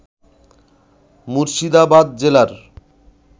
মুর্শিদাবাদ জেলার